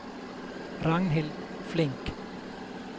Ragnhild Flink